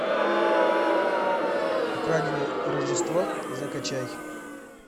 украденное рождество закачай